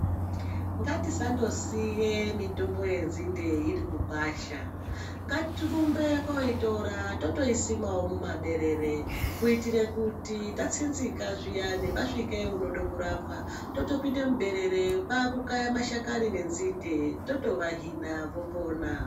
Ngatisangosiya mitombo yenzinde iri mugwasha ngatirumbe koitora totoisimawo mumaberere Kuitira kuti tasinzika zviyani kana pasvika unoda kurapwa toto pinda muberere totopunda mashakani enzinde totovahina vopona.